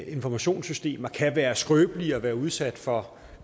informationssystemer kan være skrøbelige og være udsat for